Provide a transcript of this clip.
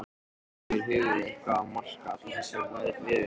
Er yfir höfuð eitthvað að marka allar þessar veðurspár?